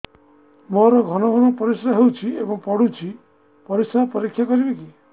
ମୋର ଘନ ଘନ ପରିସ୍ରା ହେଉଛି ଏବଂ ପଡ଼ୁଛି ପରିସ୍ରା ପରୀକ୍ଷା କରିବିକି